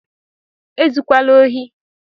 E zukwala ohi!